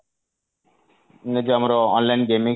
ଯଉ ଆମର online gaming